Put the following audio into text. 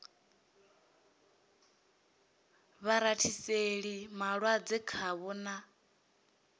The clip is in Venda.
vha rathiseli malwadze khavho na